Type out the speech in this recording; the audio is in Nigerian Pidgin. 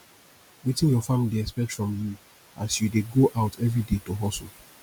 wetin your family dey expect from you as you dey go out everyday to hustle